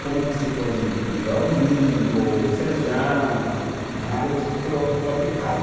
Como você pode melhorar o milho, o feijão, na área tro tropical.